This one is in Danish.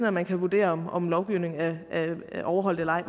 at man kan vurdere om om lovgivning er overholdt eller ej i